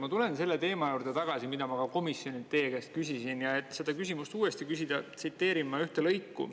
Ma tulen selle teema juurde tagasi, mida ma ka komisjonis teie käest küsisin, ja et seda küsimust uuesti küsida, tsiteerin ma ühte lõiku.